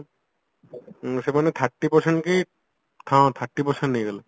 ସେମାନେ thirty percent କି ହଁ thirty percent ନେଇଗଲେ